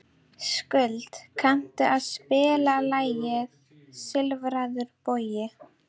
Skuld, kanntu að spila lagið „Silfraður bogi“?